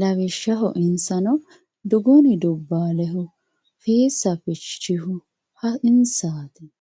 lawishshaho insano duguni dubbaalehu fiissi fichohu insaati.